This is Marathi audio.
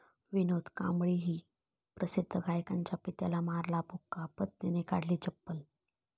विनोद कांबळीने प्रसिद्ध गायकाच्या पित्याला मारला बुक्का, पत्नीने काढली चप्पल